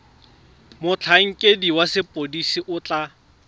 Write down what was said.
motlhankedi wa sepodisi o tla